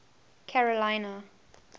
carolina